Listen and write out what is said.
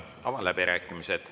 Avan läbirääkimised.